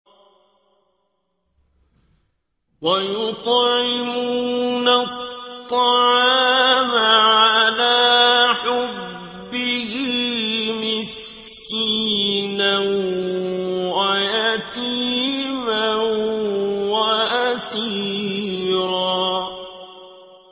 وَيُطْعِمُونَ الطَّعَامَ عَلَىٰ حُبِّهِ مِسْكِينًا وَيَتِيمًا وَأَسِيرًا